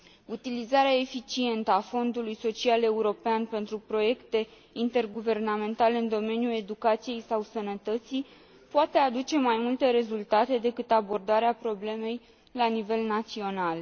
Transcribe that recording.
Utilizarea eficientă a Fondului social european pentru proiecte interguvernamentale în domeniul educației sau sănătății poate aduce mai multe rezultate decât abordarea problemei la nivel național.